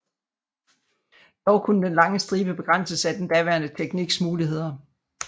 Dog kunne den lange stribe begrænses af den daværende tekniks muligheder